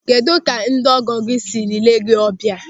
Kedụ ka ndị ọgọ gị sịrị lee gị ọbịa?